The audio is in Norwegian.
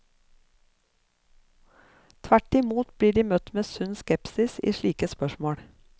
Tvert imot blir de møtt med sunn skepsis i slike spørsmål.